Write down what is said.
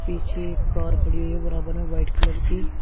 पीछे एक कार खड़ी है बराबर में व्हाइट कलर की।